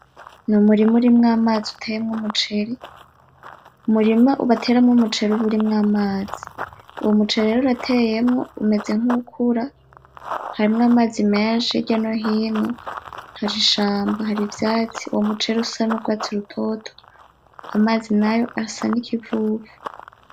Ni umurima urimwo amazi uteyemwo umuceri, umurima bateramwo umuceri uba urimwo amazi uwo muceri rero urateyemwo umeze nkuwukura harimwo amazi menshi hirya no hino hari ishamba hari ivyatsi uwo muceri usa n'ugwatsi rutoto amazi nayo asa n'ikivuvu.